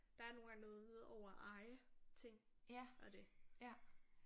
Der er nogle gange noget over at eje ting og det